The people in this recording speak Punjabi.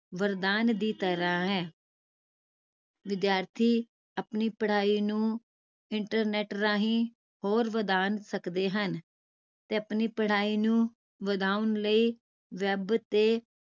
ਵਰਦਾਨ ਦੀ ਤਰਾਹ ਹੈ ਵਿਦਿਆਰਥੀ ਆਪਣੀ ਪੜ੍ਹਾਈ ਨੂੰ internet ਰਾਹੀਂ ਹੋਰ ਵਧਾ ਸਕਦੇ ਹਨ ਤੇ ਆਪਣੀ ਪੜ੍ਹਾਈ ਨੂੰ ਵਧਾਉਣ ਲਈ web ਤੇ